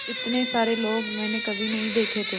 इतने सारे लोग मैंने कभी नहीं देखे थे